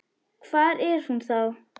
Hvar er hún þá?